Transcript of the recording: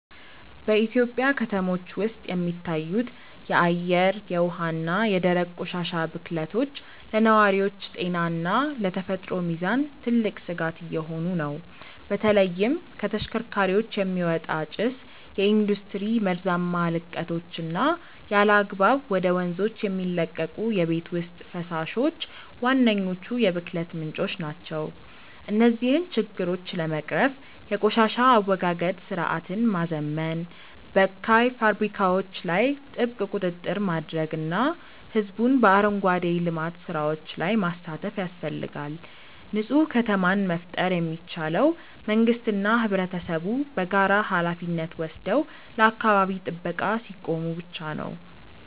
በኢትዮጵያ ከተሞች ውስጥ የሚታዩት የአየር፣ የውሃ እና የደረቅ ቆሻሻ ብክለቶች ለነዋሪዎች ጤና እና ለተፈጥሮ ሚዛን ትልቅ ስጋት እየሆኑ ነው። በተለይም ከተሽከርካሪዎች የሚወጣ ጭስ፣ የኢንዱስትሪ መርዛማ ልቀቶች እና ያለአግባብ ወደ ወንዞች የሚለቀቁ የቤት ውስጥ ፈሳሾች ዋነኞቹ የብክለት ምንጮች ናቸው። እነዚህን ችግሮች ለመቅረፍ የቆሻሻ አወጋገድ ስርዓትን ማዘመን፣ በካይ ፋብሪካዎች ላይ ጥብቅ ቁጥጥር ማድረግ እና ህዝቡን በአረንጓዴ ልማት ስራዎች ላይ ማሳተፍ ያስፈልጋል። ንፁህ ከተማን መፍጠር የሚቻለው መንግስትና ህብረተሰቡ በጋራ ሃላፊነት ወስደው ለአካባቢ ጥበቃ ሲቆሙ ብቻ ነው።